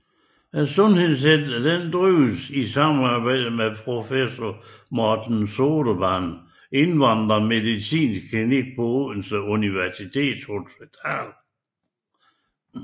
Sundhedscentret drives i samarbejde med professor Morten Sodemanns indvandrermedicinske klinik på Odense Universitetshospital